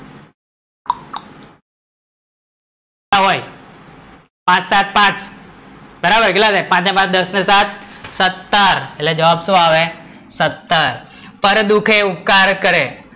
ના હોય, પાંચ સાત પાંચ, બરાબર કેટલા થાય? પાંચ ને પાંચ દસ ને સાત સત્તર, એટલે જવાબ શું આવે સત્તર? પર દુખે ઉપકાર કરે